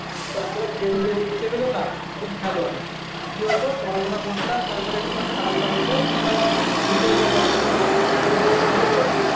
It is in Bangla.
বাচ্চারা খেলবে সেটাও তো নাই এখন খেলো আগে আর কেউ তো পড়াশোনা করতাম তারপর একটু করে খেলাধুলা হতো তারপরে আবার ঢুকে যেতাম পড়াশোনা করতে এখন তো সেটা হচ্ছে না।